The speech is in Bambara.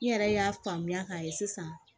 N yɛrɛ y'a faamuya k'a ye sisan